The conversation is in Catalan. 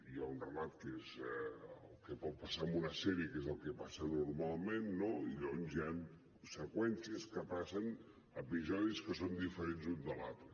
hi ha un relat que és el que pot passar en una sèrie que és el que passa normalment i llavors hi ha seqüències que passen episodis que són diferents l’un de l’altre